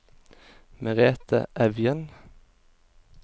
Merethe Evjen